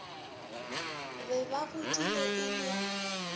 be ba godile e le